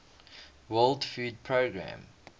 world food programme